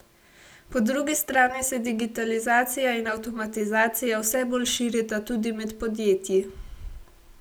Po drugi strani se digitalizacija in avtomatizacija vse bolj širita tudi med podjetji.